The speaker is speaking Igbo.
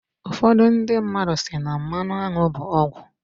ụfọdụ ndị mmadu si na "mmanụ aṅụ bụ ọgwụ"